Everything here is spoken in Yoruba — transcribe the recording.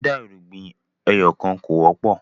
dida irúgbìn ẹyọkan kọ wọpọ